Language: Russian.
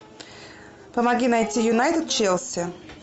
помоги найти юнайтед челси